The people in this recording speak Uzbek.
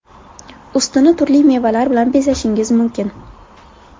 Ustini turli mevalar bilan bezashingiz mumkin.